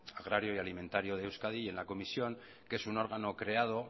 agrario y alimentario de euskadi y en la comisión que es un órgano creado